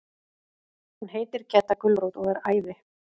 Og hún heitir Gedda gulrót og er æði.